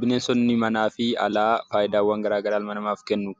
Bineensonni manaa fi bineensonni alaa ilma namaatiif faayidaa adda addaa kennu.